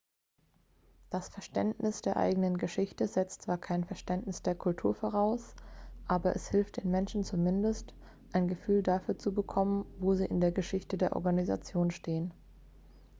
das verständnis der eigenen geschichte setzt zwar kein verständnis der kultur voraus aber es hilft den menschen zumindest ein gefühl dafür zu bekommen wo sie in der geschichte der organisation stehen